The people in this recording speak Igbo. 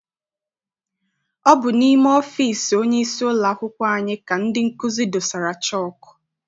Ọ bụ n'ime ọfịịsi onyeisi ụlọakwụkwọ anyị ka ndị nkụzi dosara chọku.